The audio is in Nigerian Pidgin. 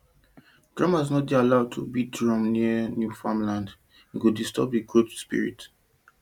drummers no dey allowed to dey beat drum near new farmland e go disturb growth spirit